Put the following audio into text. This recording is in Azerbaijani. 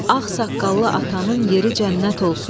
Ağsaqqallı atanın yeri cənnət olsun.